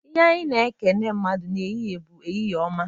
Ihe anyị na-ekene mmadụ n'ehihie bụ, "Ehihie ọma!"